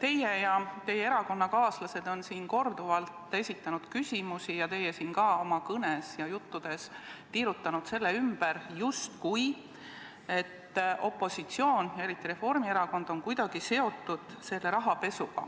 Teie erakonnakaaslased on siin korduvalt esitanud küsimusi selle kohta ning te ise olete oma kõnes ja juttudes tiirutanud selle ümber, justkui oleks opositsioon, eriti Reformierakond, kuidagi seotud selle rahapesuga,